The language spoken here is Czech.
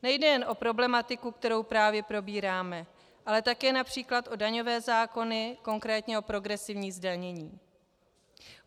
Nejde jen o problematiku, kterou právě probíráme, ale také například o daňové zákony, konkrétně o progresivní zdanění.